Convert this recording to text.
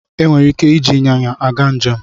E nwere ike iji ịnyịnya aga njem.